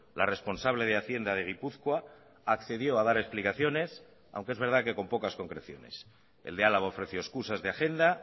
la responsable de hacienda de gipuzkoa accedió a dar explicaciones aunque es verdad que con pocas concreciones el de álava ofreció excusas de agenda